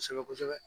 Kosɛbɛ kosɛbɛ